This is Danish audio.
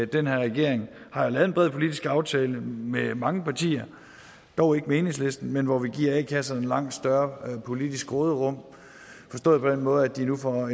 den her regering har lavet en bred politisk aftale med mange partier dog ikke med enhedslisten hvor vi giver a kasserne langt større politisk råderum forstået på den måde at de nu får